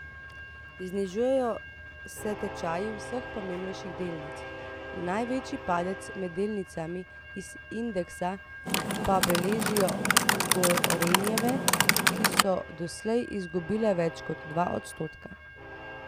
Znižujejo se tečaji vseh pomembnejših delnic, največji padec med delnicami iz indeksa pa beležijo Gorenjeve, ki so doslej izgubile več kot dva odstotka.